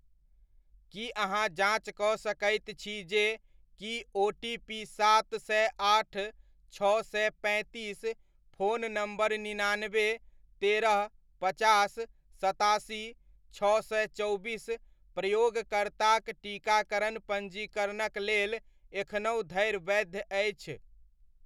की अहाँ जाँच कऽ सकैत छी जे की ओटीपी सात सए आठ छओ सए पैंतीस फोन नम्बर निनानबे, तेरह, पचास, सतासी, छओ सए चौबीस प्रयोगकर्ताक टीकाकरण पञ्जीकरणक लेल एखनहुँ धरि वैध अछि ?